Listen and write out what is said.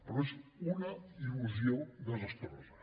però és una il·lusió desastrosa